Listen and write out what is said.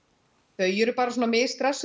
þau eru bara svona